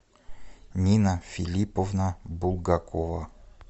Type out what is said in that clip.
нина филипповна булгакова